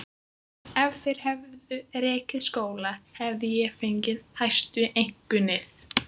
Ef þeir hefðu rekið skóla hefði ég fengið hæstu einkunnir.